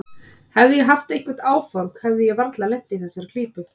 Hefði ég haft einhver áform hefði ég varla lent í þessari klípu.